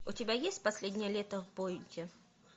у тебя есть последнее лето в бойте